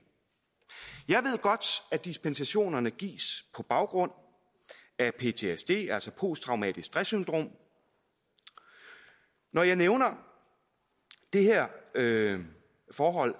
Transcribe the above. godt at dispensationerne gives på baggrund af ptsd altså posttraumatisk stress syndrom når jeg nævner det her forhold